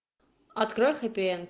открой хэппи энд